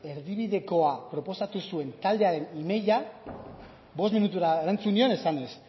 erdibidekoa proposatu zuen taldearen emaila bost minutura erantzun nion esanez